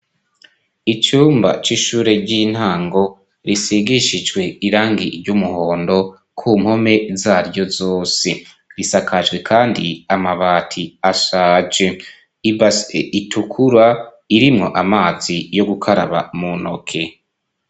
Icumba c'ishure ry'intango risigishijwe irangi ry'umuhondo ku mpome zaryo zose risakajwe kandi amabati ashaje ibase itukura irimwo amazi yo gukaraba mu ntoke.